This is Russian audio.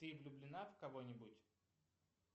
ты влюблена в кого нибудь